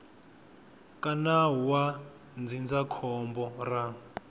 ka nawu wa ndzindzakhombo ra